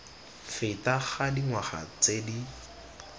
feta ga dingwaga tse di